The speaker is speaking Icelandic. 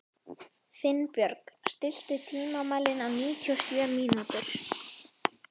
Finnbjörg, stilltu tímamælinn á níutíu og sjö mínútur.